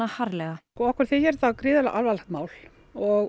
harðlega okkur þykir þetta gríðarlega alvarlegt mál og